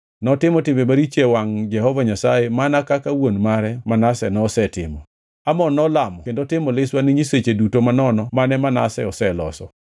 Notimo timbe maricho e wangʼ Jehova Nyasaye mana kaka wuon mare Manase nosetimo. Amon nolamo kendo timo liswa ne nyiseche duto manono mane Manase oseloso.